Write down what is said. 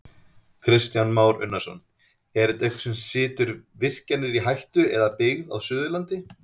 Kristján Már Unnarsson: Er þetta eitthvað sem situr virkjanir í hættu eða byggð á Suðurlandi?